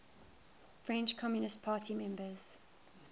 french communist party members